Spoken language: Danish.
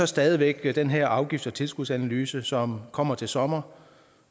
stadig væk den her afgifts og tilskudsanalyse som kommer til sommer